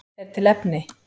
Er til efni?